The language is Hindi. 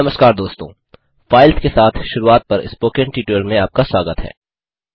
नमस्कार दोस्तों फाइल्स के साथ शुरूआत पर स्पोकन ट्यूटोरियल में आपका स्वागत है